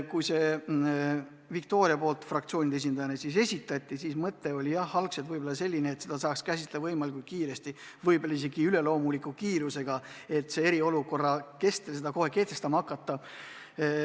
Kui Viktoria selle fraktsioonide esindajana esitas, siis mõte oli jah algselt selline, et seda tuleks käsitleda võimalikult kiiresti, võib-olla isegi üleloomuliku kiirusega, et eriolukorra ajal muudatused kohe kehtestada.